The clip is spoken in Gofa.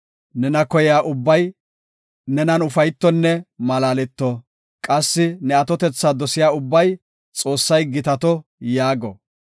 Nena koyiya ubbay nenan ufaytonne malaaleto. Qassi ne atotetha dosiya ubbay, “Xoossay gitato” yaago.